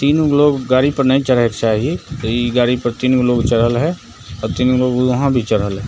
तीन गो लोग गाड़ी पर नै चरहे के चाही इ गाड़ी पर तीन गो लोग चरहल हय और तीन गो वहाँ भी चरहल हय।